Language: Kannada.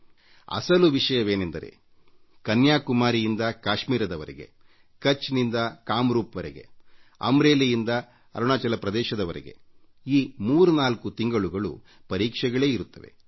ವಾಸ್ತವವಾಗಿಕನ್ಯಾಕುಮಾರಿಯಿಂದ ಕಾಶ್ಮೀರದವರೆಗೆ ಮತ್ತು ಕಚ್ನಿಂದ ಕಾಮ್ ರೂಪ್ವರೆಗೆ ಅಮ್ರೇಲಿಯಿಂದ ಅರುಣಾಚಲ ಪ್ರದೇಶದವರೆಗೆ ಈ ಮೂರ್ನಾಲ್ಕು ತಿಂಗಳುಗಳು ಪರೀಕ್ಷೆಗಳ ಸಮೃದ್ಧಿಯೇ ಕಾಣುತ್ತದೆ